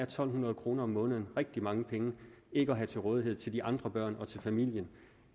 to hundrede kroner om måneden rigtig mange penge ikke at have til rådighed til de andre børn og til familien